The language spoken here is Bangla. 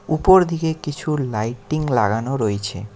উপরদিকে কিছু লাইটিং লাগানো রয়েছে।